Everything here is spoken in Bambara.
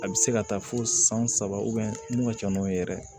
A bɛ se ka taa fo san saba mun ka ca n'o ye yɛrɛ